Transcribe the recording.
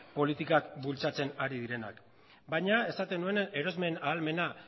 politikak bultzatzen ari direnik baina esaten nuen erosmen ahalmena